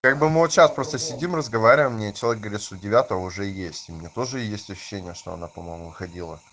как бы мы вот сейчас просто сидим разговариваем мне человек говорит что девятова уже есть у меня тоже есть ощущение что она по-моему выходила